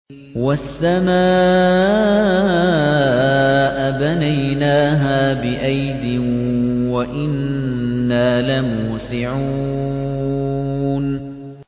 وَالسَّمَاءَ بَنَيْنَاهَا بِأَيْدٍ وَإِنَّا لَمُوسِعُونَ